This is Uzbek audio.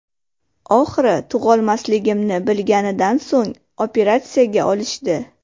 Oxiri tug‘olmasligimni bilganidan so‘ng operatsiyaga olishdi.